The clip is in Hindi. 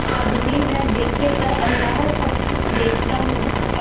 आदमी न देखे पर अल्लाह सब कुछ देखता है